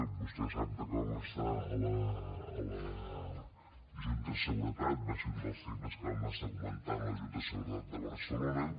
vostè sap com està a la junta de seguretat va ser un dels temes que vam estar comentant a la junta de seguretat de barcelona